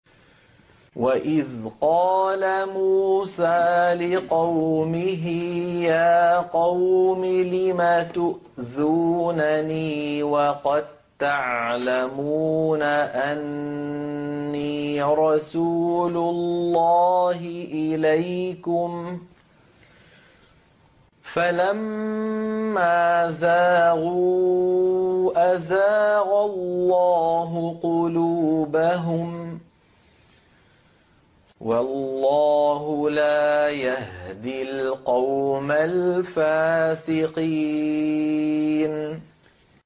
وَإِذْ قَالَ مُوسَىٰ لِقَوْمِهِ يَا قَوْمِ لِمَ تُؤْذُونَنِي وَقَد تَّعْلَمُونَ أَنِّي رَسُولُ اللَّهِ إِلَيْكُمْ ۖ فَلَمَّا زَاغُوا أَزَاغَ اللَّهُ قُلُوبَهُمْ ۚ وَاللَّهُ لَا يَهْدِي الْقَوْمَ الْفَاسِقِينَ